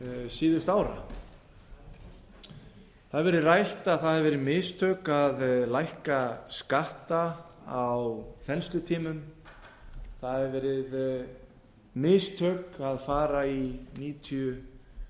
síðustu ára það hefur verið rætt að það hafi verið mistök að lækka skatta á þenslutímum það hefur verið mistök að fara í níutíu